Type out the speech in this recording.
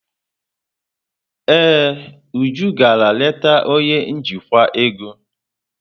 Ee, Uju gara leta onye njikwa ego.